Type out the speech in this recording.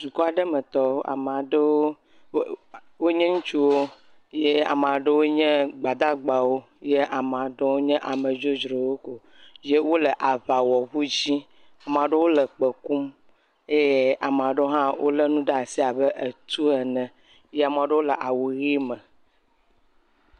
Dukɔ aɖe metɔwo ame aɖewo wonye ŋutsuwo ye ame aɖewo nye gbadagbawo ye ame aɖewo nye ame dzodzro woko, ye wole aŋawɔŋu dzi, ame aɖewo le kpẽ kum ye ame aɖewo hã lé nane ɖe asi abet u ene ye ame aɖewo le awu ʋe me.